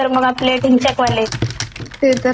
ते तर आहेच सॉंग्स मुळे आपलं म्हणजे;